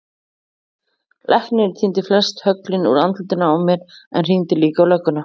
Læknirinn tíndi flest höglin úr andlitinu á mér en hringdi líka á lögguna.